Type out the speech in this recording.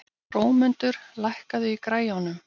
Hrómundur, lækkaðu í græjunum.